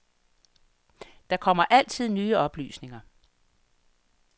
Der kommer altid nye oplysninger.